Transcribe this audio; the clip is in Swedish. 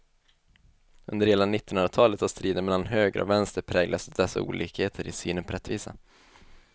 Under hela nittonhundratalet har striden mellan höger och vänster präglats av dessa olikheter i synen på rättvisa.